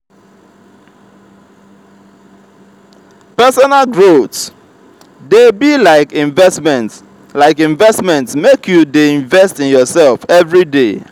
personal growth dey be like investment like investment make you dey invest in yoursef everyday.